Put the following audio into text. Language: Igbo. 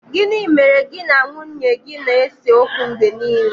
Gini mere gi na nwunye gi na-ese okwu mgbe nile